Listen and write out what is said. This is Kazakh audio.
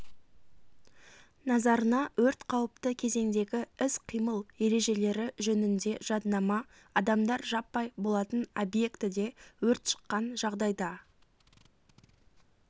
назарына өрт қауіпті кезеңдегі іс-қимыл ережелері жөнінде жаднама адамдар жаппай болатын объектіде өрт шыққан жағдайда